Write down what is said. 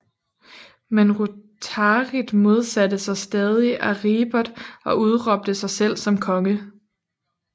Men Rotarit modsatte sig stadig Aripert og udråbte sig selv som konge